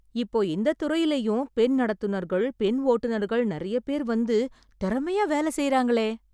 இப்போ இந்த துறையிலயும் பெண் நடத்துனர்கள், பெண்ஓட்டுனர்கள் நிறைய பேர் வந்து, திறமையா வேலை செய்றாங்களே...